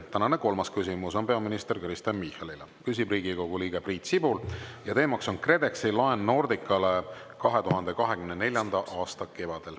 Tänane kolmas küsimus on peaminister Kristen Michalile, küsib Riigikogu liige Priit Sibul ja teema on KredExi laen Nordicale 2024. aasta kevadel.